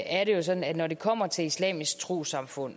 er det jo sådan at når det kommer til islamisk trossamfund